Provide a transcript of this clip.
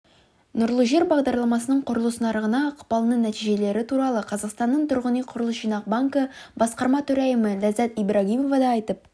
нұрлы жер бағдарламасының құрылыс нарығына ықпалының нәтижелері туралы қазақстанның тұрғынүйқұрылысжинақбанкі басқарма төрайымы ләззат ибрагимова да айтып